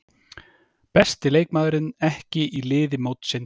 Besti leikmaðurinn ekki í liði mótsins